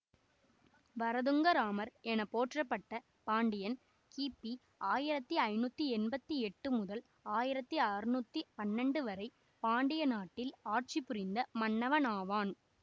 வரதுங்கராமர் என போற்றப்பட்ட பாண்டியன் கிபி ஆயிரத்தி ஐநூற்றி எம்பத்தி எட்டு முதல் ஆயிரத்தி அறுநூற்றி பன்னெண்டு வரை பாண்டிய நாட்டில் ஆட்சி புரிந்த மன்னனாவான்